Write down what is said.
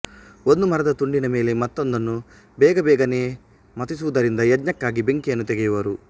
ಒಂದು ಮರದ ತುಂಡಿನ ಮೇಲೆ ಮತ್ತೊಂದನ್ನು ಬೇಗಬೇಗನೆ ಮಥಿಸುವುದರಿಂದ ಯಜ್ಞಕ್ಕಾಗಿ ಬೆಂಕಿಯನ್ನು ತೆಗೆಯುವರು